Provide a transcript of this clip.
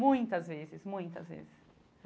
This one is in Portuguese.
Muitas vezes, muitas vezes.